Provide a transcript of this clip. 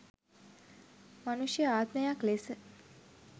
මනුෂ්‍ය ආත්මයක් ලෙස